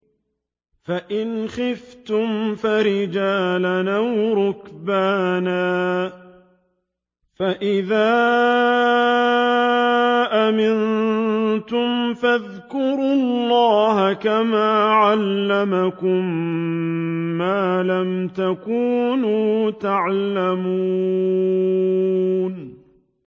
فَإِنْ خِفْتُمْ فَرِجَالًا أَوْ رُكْبَانًا ۖ فَإِذَا أَمِنتُمْ فَاذْكُرُوا اللَّهَ كَمَا عَلَّمَكُم مَّا لَمْ تَكُونُوا تَعْلَمُونَ